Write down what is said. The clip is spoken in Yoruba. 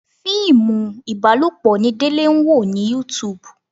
Fíìmù ibalopo ni Délé ń wò ní YouTube.